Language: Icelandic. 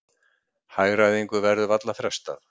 Hagræðingu verður varla frestað